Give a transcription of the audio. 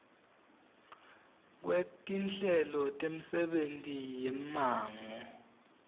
kwetinhlelo temisebenti yemmango